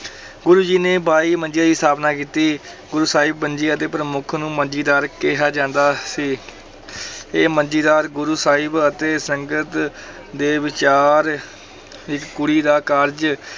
ਗੁਰੂ ਜੀ ਨੇ ਬਾਈ ਮੰਜੀਆਂ ਦੀ ਸਥਾਪਨਾ ਕੀਤੀ ਗੁਰੂ ਸਾਹਿਬ ਮੰਜੀਆਂ ਦੇ ਪ੍ਰਮੁੱਖ ਨੂੰ ਮੰਜੀਦਾਰ ਕਿਹਾ ਜਾਂਦਾ ਸੀ ਇਹ ਮੰਜੀਦਾਰ ਗੁਰੂ ਸਾਹਿਬ ਅਤੇ ਸੰਗਤ ਦੇ ਵਿਚਾਰ ਦੀ ਕੁੜੀ ਦਾ ਕਾਰਜ